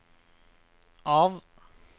av